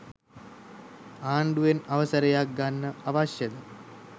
අන්ඩුවෙන් අවසරයක් ගන්න අවශ්‍යද